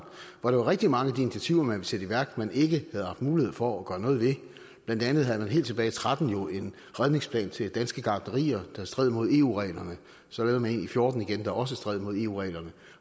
hvor det var rigtig mange af de initiativer man ville sætte i værk man ikke havde haft mulighed for at gøre noget ved blandt andet havde man helt tilbage tretten jo en redningsplan til danske gartnerier der stred mod eu reglerne så lavede man en i fjorten igen der også stred mod eu reglerne